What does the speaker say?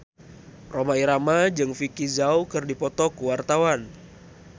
Rhoma Irama jeung Vicki Zao keur dipoto ku wartawan